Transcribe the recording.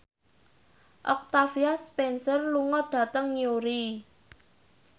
Octavia Spencer lunga dhateng Newry